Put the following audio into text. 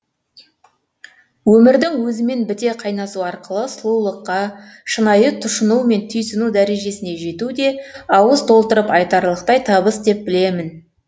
өмірдің өзімен біте қайнасу арқылы сұлулыққа шынайы тұшыну мен түйсіну дәрежесіне жету де ауыз толтырып айтарлықтай табыс деп білемін